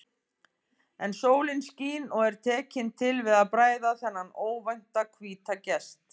En sólin skín og er tekin til við að bræða þennan óvænta hvíta gest.